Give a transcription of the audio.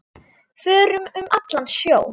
Förum um allan sjó.